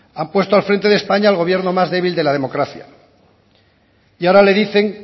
han puesto al frente de españa al gobierno más débil de la democracia y ahora le dicen